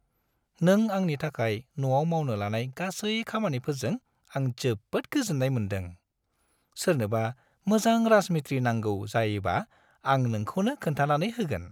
नों आंनि थाखाय न'आव मावनो लानाय गासै खामानिफोरजों आं जोबोद गोजोन्नाय मोनदों। सोरनोबा मोजां राजमिस्थ्रि नांगौ जायोबा आं नोंखौनो खोन्थानानै होगोन।